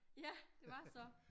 Ja det var så